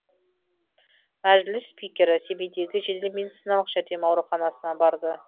мәжіліс спикері семейдегі жедел медициналық жәрдем ауруханасына барды